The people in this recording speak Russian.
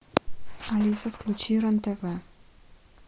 алиса включи рен тв